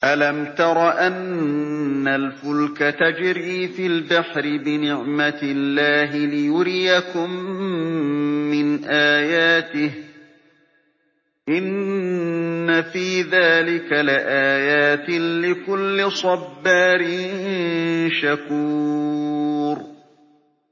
أَلَمْ تَرَ أَنَّ الْفُلْكَ تَجْرِي فِي الْبَحْرِ بِنِعْمَتِ اللَّهِ لِيُرِيَكُم مِّنْ آيَاتِهِ ۚ إِنَّ فِي ذَٰلِكَ لَآيَاتٍ لِّكُلِّ صَبَّارٍ شَكُورٍ